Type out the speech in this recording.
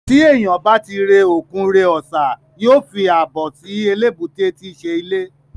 Tí èniyàn bá ti re òkun re ọ̀sà, yóò fàbọ̀ sí eléébúté tíí ṣe ilé